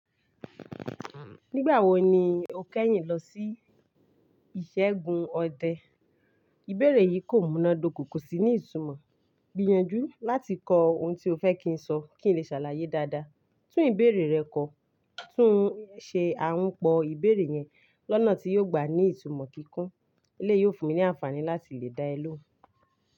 Nígbà wo ni o kẹ́yìn lọ sí ìṣẹ́gun ọdẹ? Ìbéèrè yìí kò múná dokò, kò sí ní ìtumọ̀. Gbìyànjú láti kọ ohun tí o fẹ́ kí n sọ kí n lè ṣàlàyé dáadáa. Tún ìbéèrè rẹ kọ. Tún ṣe àǹpọ̀ ìbéèrè yẹn lọ́nà tí yóò gbà ní ìtumọ̀ kíkún. Eleyi yìí yóò fún mi ní àǹfààní láti lè dá ẹ ló.